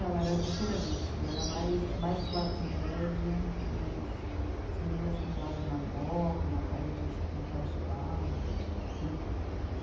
Ela era diferente, era mais, mais classe média mais, as meninas que moravam na moca, na paz, na paz de barros né.